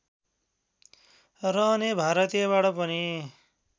रहने भारतीयबाट पनि